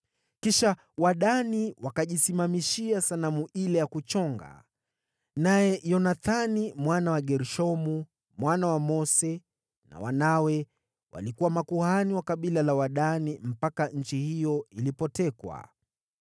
Kisha Wadani wakajisimamishia sanamu ile ya kuchonga, naye Yonathani mwana wa Gershomu, mwana wa Mose pamoja na wanawe walikuwa makuhani wa kabila la Wadani mpaka nchi hiyo ilipotekwa.